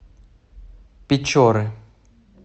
печоры